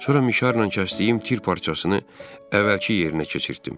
Sonra mişarla kəsdiyim tir parçasını əvvəlki yerinə keçirtdim.